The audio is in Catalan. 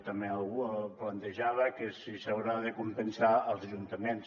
també algú plantejava que si s’haurà de compensar els ajuntaments